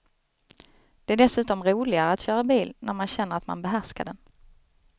Det är dessutom roligare att köra bil när man känner att man behärskar den.